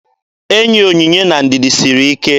Enyi Onyinye na Ndidi siri ike.